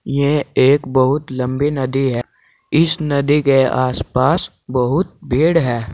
ये एक बहुत लंबी नदी है इस नदी के आस पास बहुत भीड़ है।